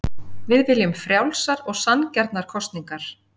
Við viljum frjálsar og sanngjarnar kosningar